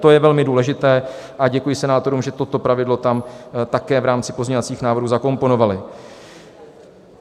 To je velmi důležité a děkuji senátorům, že toto pravidlo tam také v rámci pozměňovacích návrhů zakomponovali.